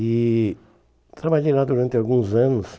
E trabalhei lá durante alguns anos.